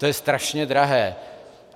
To je strašně drahé.